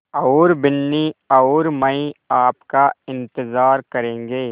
और बिन्नी और मैं आपका इन्तज़ार करेंगे